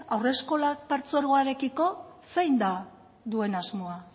haurreskolak partzuergoarekiko zein da duen asmoa